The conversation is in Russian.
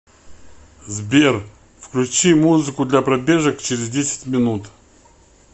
сбер включи музыку для пробежек через десять минут